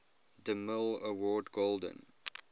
demille award golden